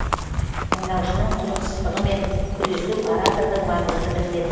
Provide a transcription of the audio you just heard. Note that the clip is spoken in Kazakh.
тыңдаушының құлықсыздығымен күресу оратордың маңызды міндеті